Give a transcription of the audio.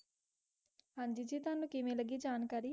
हांजी जी केविन लगी तोवाणु जानकारी बहुत ज़ियादह वाडिया